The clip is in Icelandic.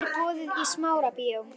Rúbý, er opið í Smárabíói?